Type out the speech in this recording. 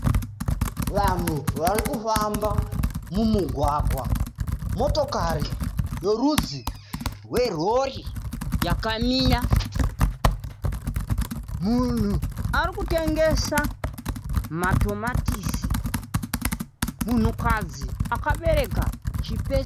Vanhu ari kufamba mumugwagwa. Motokari yerudzi rwerori yakamira. Munhu ari kutengesa matomatisi. Munhukadzi akabereka chipesi.